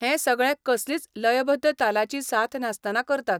हें सगळें कसलीच लयबद्ध तालाची साथ नासतना करतात.